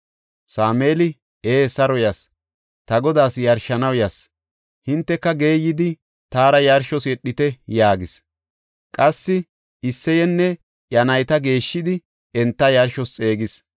Sameeli, “Ee, saro yas; ta Godaas yarshanaw yas; hinteka geeyidi taara yarshos yedhite” yaagis. Qassi Isseyenne iya nayta geeshshidi enta yarshos xeegis.